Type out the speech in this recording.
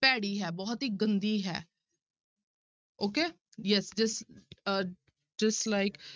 ਭੈੜੀ ਹੈ, ਬਹੁਤ ਹੀ ਗੰਦੀ ਹੈ okay yes dis uh dislike